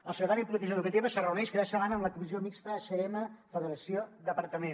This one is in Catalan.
el secretari de polítiques educatives es reuneix cada setmana amb la comissió mixta acm i federació departament